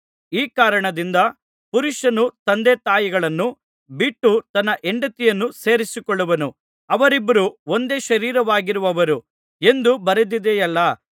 ಈ ಕಾರಣದಿಂದ ಪುರುಷನು ತಂದೆತಾಯಿಗಳನ್ನು ಬಿಟ್ಟು ತನ್ನ ಹೆಂಡತಿಯನ್ನು ಸೇರಿಕೊಳ್ಳುವನು ಅವರಿಬ್ಬರೂ ಒಂದೇ ಶರೀರವಾಗಿರುವರು ಎಂದು ಬರೆದದೆಯಲ್ಲಾ